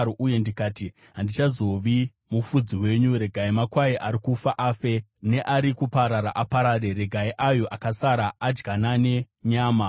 uye ndikati, “Handichazovi mufudzi wenyu. Regai makwai ari kufa afe, neari kuparara aparare. Regai ayo akasara adyanane nyama.”